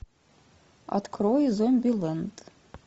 открой зомбилэнд